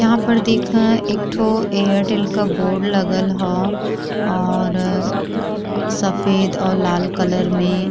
यहाँ पर देखा एकठो एयरटेल का बोर्ड लागल ह और सफ़ेद और लाल कलर मे।